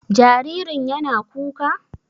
Jaririn yana kuka?